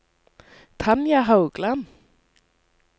Tanja Haugland